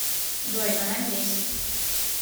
джой она здесь